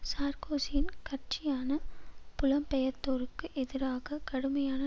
சார்க்கோசியின் கட்சியான புலம்பெயர்த்தோருக்கு எதிராக கடுமையான